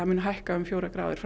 mun hækka um fjórar gráður